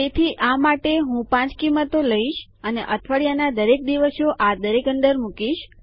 તેથી આ માટે હું ૫ કિંમતો લઈશ અને અઠવાડિયાના દરેક દિવસો આ દરેક અંદર મુકીશ